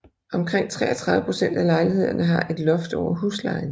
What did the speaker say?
Omkring 33 procent af lejlighederne har et loft over huslejen